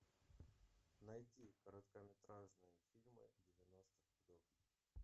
найти короткометражные фильмы девяностых годов